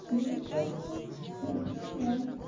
ну не сдохнем честно да